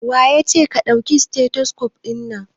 Waye yace ka dauki stethoscope din nan?